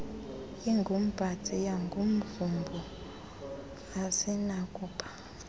ingumpatsiya ngumvubo azinakuba